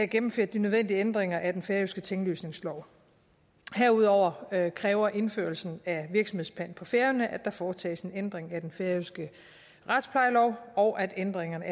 gennemført de nødvendige ændringer af den færøske tinglysningslov herudover kræver indførelsen af virksomhedspant på færøerne at der foretages en ændring af den færøske retsplejelov og at ændringerne